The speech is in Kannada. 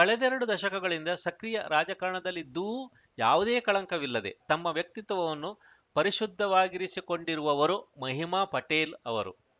ಕಳೆದೆರಡು ದಶಕಗಳಿಂದ ಸಕ್ರಿಯ ರಾಜಕಾರಣದಲ್ಲಿದ್ದೂ ಯಾವುದೇ ಕಳಂಕವಿಲ್ಲದೆ ತಮ್ಮ ವ್ಯಕ್ತಿತ್ವವನ್ನು ಪರಿಶುದ್ಧವಾಗಿರಿಸಿಕೊಂಡಿರುವವರು ಮಹಿಮಾ ಪಟೇಲ್‌ ಅವರು